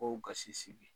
Ko gasi sigi